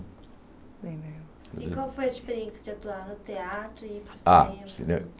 E qual foi a diferença de atuar no teatro e ir para o cinema? Ah o